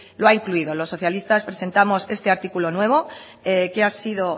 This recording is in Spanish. lo ha incluido los socialistas presentamos este artículo nuevo que ha sido